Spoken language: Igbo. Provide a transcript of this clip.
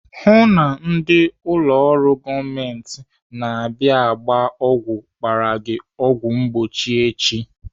Hụụ na ndị ụlọ ọrụ gọọmenti na-abịa agba ọgwụ gbara gị ọgwụ mgbochi echi!